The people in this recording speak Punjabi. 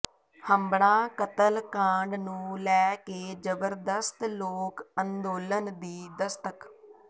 ਹੰਬੜਾਂ ਕਤਲ ਕਾਂਡ ਨੂੰ ਲੈ ਕੇ ਜ਼ਬਰਦਸਤ ਲੋਕ ਅੰਦੋਲਨ ਦੀ ਦਸਤਕ